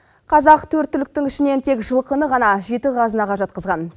қазақ төрт түліктің ішінен тек жылқыны ғана жеті қазынаға жатқызған